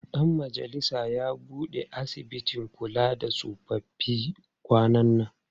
Ɗan majalisar ya buɗe asibitin kula da tsofaffi kwanan nan.